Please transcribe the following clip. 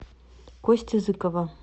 кости зыкова